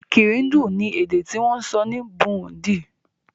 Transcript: Kirundi ni èdè ti wón sọ ni Burundi